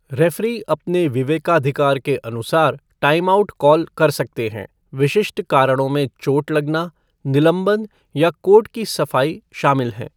Referee अपने विवेकाधिकार के अनुसार टाइमआउट कॉल कर सकते हैं, विशिष्ट कारणों में चोट लगना, निलंबन या कोर्ट की सफाई शामिल है।